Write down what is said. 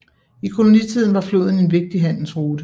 I kolonitiden var floden en vigtig handelsrute